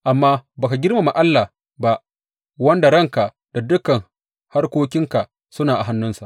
Amma ba ka girmama Allah ba, wanda ranka da dukan harkokinka suna a hannunsa.